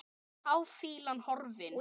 Táfýlan horfin.